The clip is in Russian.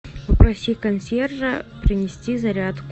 попроси консьержа принести зарядку